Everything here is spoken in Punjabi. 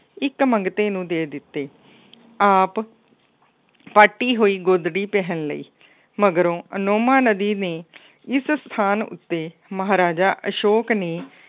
ਇੱਕ ਮੰਗਤੇ ਨੂੰ ਦੇ ਦਿੱਤੇ। ਆਪ ਪਾਟੀ ਹੋਈ ਗੋਦਰੀ ਪਹਿਨ ਲਈ। ਮਗਰੋਂ ਅਨੋਮਾ ਨਦੀ ਨੇ ਇਸ ਸਥਾਨ ਉੱਤੇ ਮਹਾਰਾਜਾ ਅਸ਼ੋਕ ਨੇ